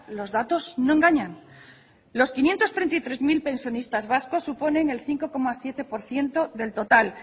los datos no engañan los quinientos treinta y tres mil pensionistas vascos suponen el cinco coma siete por ciento del total